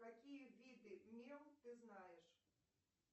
какие виды мел ты знаешь